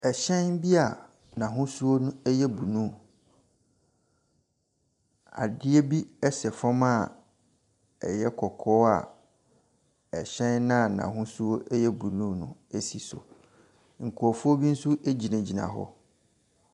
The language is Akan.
Hyɛn bi a n'ahosuo yɛ blue Adeɛ bi sɛ fam a ɛyɛ kɔkɔɔ a hyɛn a n'ahosuo yɛ blue no si so. Nkurɔfoɔ bi nso gyinagyina hɔ.